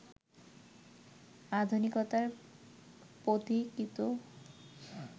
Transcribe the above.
আধুনিকতার পথিকৃত